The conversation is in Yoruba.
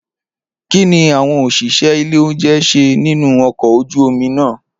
Kini awọn oṣiṣẹ ile ounjẹ ṣe ninu ọkọ oju omi naa?